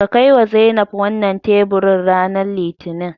Ka kaiwa Zainab wannan teburin ranar Litinin.